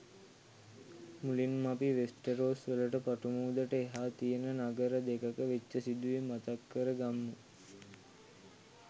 මුලින්ම අපි වෙස්ටරොස් වලට පටු මුහුදට එහා තියෙන නගර දෙකක වෙච්ච සිදුවීම් මතක් කර ගම්මු.